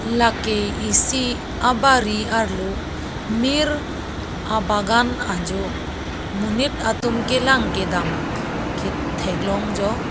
lake isi abari arlo mir abagan ajo monit atum kelang kedam ke theklong jo.